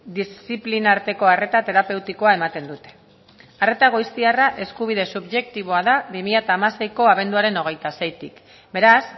diziplina arteko arreta terapeutikoa ematen dute arreta goiztiarra eskubide subjektiboa da bi mila hamaseiko abenduaren hogeita seitik beraz